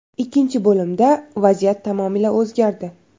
Ikkinchi bo‘limda vaziyat tamomila o‘zgardi.